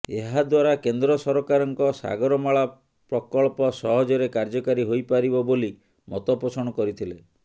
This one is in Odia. ଏହାଦ୍ୱାରା କେନ୍ଦ୍ର ସରକାରଙ୍କ ସାଗରମାଳା ପ୍ରକଳ୍ପ ସହଜରେ କାର୍ଯ୍ୟକାରୀ ହୋଇ ପାରିବ ବୋଲି ମତପୋଷଣ କରିଥିଲେ